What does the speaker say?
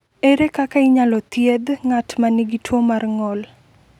Ere kaka inyalo thiedh ng’at ma nigi tuwo mar ng’ol?